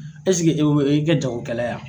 i bɛ kɛ jagokɛla ye wa